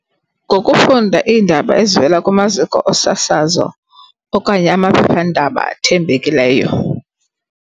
Ngokufunda iindaba ezivela kumaziko osasazo okanye amaphephandaba athembekileyo.